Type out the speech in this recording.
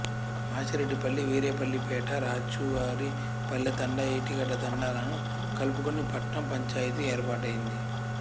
మాచిరెడ్డిపల్లి వీరేపల్లిపేట రాచువారిపల్లెతండా ఏటిగడ్డతండా లను కలుపుకుని పట్నం పంచాయితీ ఏర్పాటైంది